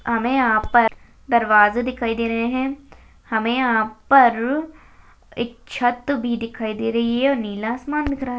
हमें यहाँ पर दरवाजा दिखाई दे रहे है हमें यहाँ पर एक छत भी दिखाई दे रहा है नीला आसमान दिखरा है --